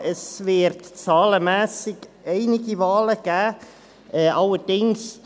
Es wird zahlenmässig einige Wahlen geben.